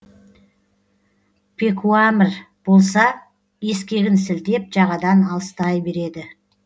пекуамір болса ескегін сілтеп жағадан алыстай береді